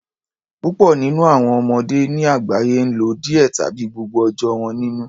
Púpọ nínú àwọn ọmọdé ní àgbáyé n lo díẹ tàbí gbogbo ọjọ́ wọn nínú